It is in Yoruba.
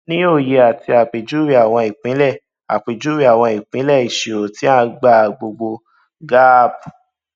ní òye ati àpèjúwe àwọn ìpìnlẹ àpèjúwe àwọn ìpìnlẹ ìṣirò tí a gbà gbogbo gaap